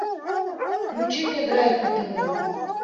включи мне драйв на тв